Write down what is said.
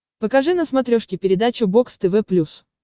покажи на смотрешке передачу бокс тв плюс